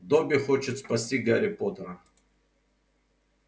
добби хочет спасти гарри поттера